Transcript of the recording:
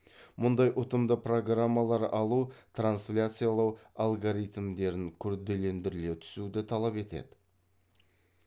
мұндай ұтымды программалар алу трансляциялау алгоритмдерін күрделендіре түсуді талап етеді